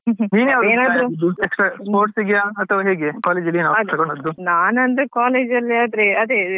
ನೀನ್ ಯಾವ್ದು ತೆಕೊಂಡದ್ದು extra sports ಗೆಯಾ ಅಥವಾ ಹೇಗೆ college ಅಲ್ಲಿ ಯಾವ್ದು ತೆಕೊಂಡದ್ದು.